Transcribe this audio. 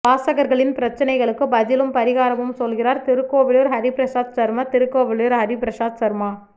வாசகா்களின் பிரச்னைகளுக்கு பதிலும் பாிகாரமும் சொல்கிறாா் திருக்கோவிலூர் ஹரிபிரசாத் சர்மா திருக்கோவிலூர் ஹரிபிரசாத் சர்மா